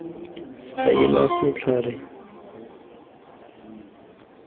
faela letlhare la pampiri ka